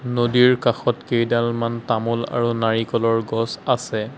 নদীৰ কাষত কেইডালমান তামুল আৰু নাৰিকলৰ গছ আছে।